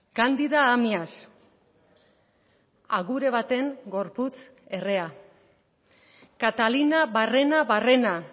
candida amias agure baten gorputz errea catalina barrena barrena